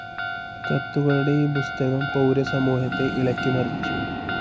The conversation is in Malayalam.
കത്തുകളുടെ ഈ പുസ്തകം പൗരസമൂഹത്തെ ഇളക്കിമറിച്ചു.